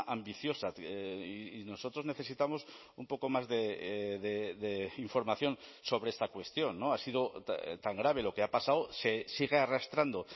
ambiciosa y nosotros necesitamos un poco más de información sobre esta cuestión no ha sido tan grave lo que ha pasado se sigue arrastrando